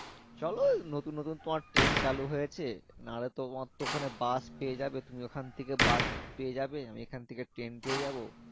চলো নতুন নতুন পর ট্রেন চালু হয়েছে না হলে তোমার তো ওখানে বাস পেয়ে যাবে তো তুমি ওখান থেকে বাস পেয়ে যাবে আমি এখান থেকে ট্রেন পেয়ে যাবো